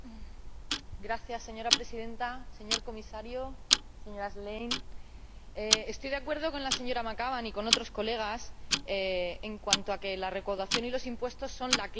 Señora Presidenta, señor Comisario, señora Schlein, estoy de acuerdo con la señora McAvan y con otros diputados en cuanto a que la recaudación y los impuestos son la clave de todo esto.